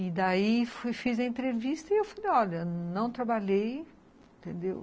E daí fiz a entrevista e eu falei, olha, não trabalhei, entendeu?